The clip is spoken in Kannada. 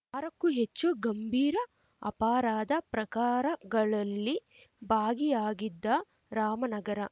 ಆರಕ್ಕೂ ಹೆಚ್ಚು ಗಂಭೀರ ಅಪರಾಧ ಪ್ರಕಾರಗಳಲ್ಲಿ ಭಾಗಿಯಾಗಿದ್ದ ರಾಮನಗರ